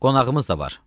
Qonağımız da var.